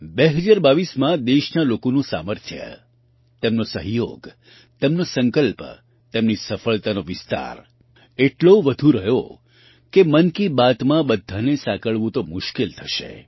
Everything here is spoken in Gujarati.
2022માં દેશના લોકોનું સામર્થ્ય તેમનો સહયોગ તેમનો સંકલ્પ તેમની સફળતાનો વિસ્તાર એટલો વધુ રહ્યો કે મન કી બાતમાં બધાને સાંકળવું તો મુશ્કેલ થશે